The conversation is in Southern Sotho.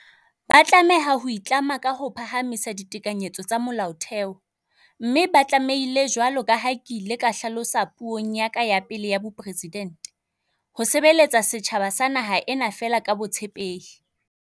Ba tlameha ho itlama ka ho phahamisa ditekanyetso tsa Molaotheo, mme ba tlame hile, jwalo ka ha ke ile ka hla losa puong ya ka ya pele ya bopresidente, "ho sebeletsa setjhaba sa naha ena feela ka botshepehi".